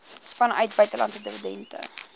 vanuit buitelandse dividende